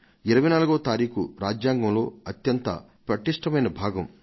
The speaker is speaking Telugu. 24వ తారీఖు రాజ్యాంగంలో అత్యంత పటిష్టమైన భాగం